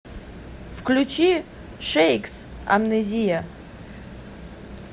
включи шейкс амнезия